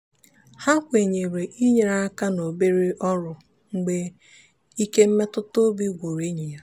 ha kwenyere inyere aka n'obere ọrụ mgbe ike mmetụtaobi gwụrụ enyi ya.